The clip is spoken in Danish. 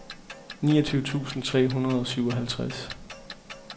niogtyve tusind tre hundrede og syvoghalvtreds